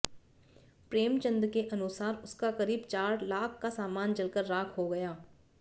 प्रेम चंद के अनुसार उसका करीब चार लाख का सामान जलकर राख हो गया